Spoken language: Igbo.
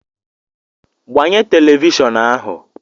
gbanye telivishọn ahu